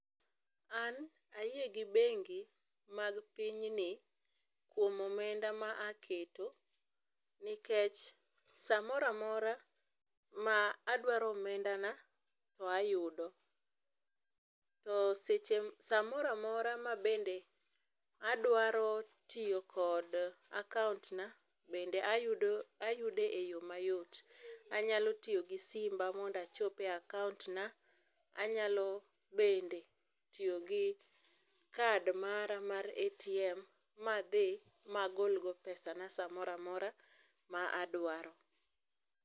An ayie gi bengi mag pinyni kuom omenda ma aketo nikech saa amoro amora ma adwaro omenda na to ayudo, to seche, saa moro amora ma bende adwaro tiyo kod akaunt na bende ayude e yoo mayot, anyalo tiyo gi simba mondo achope e akaunt na anyalo bende tiyo gi kad mara mar ATM madhi magol go pesana saa amoro amora ma adwaro